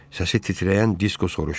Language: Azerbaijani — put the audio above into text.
Səsi titrəyən Disko soruşdu.